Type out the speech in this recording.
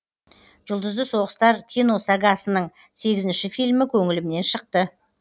жұлдызды соғыстар киносагасының сегізінші фильмі көңілімнен шықты